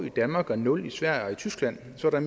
i danmark men nul i sverige og i tyskland så der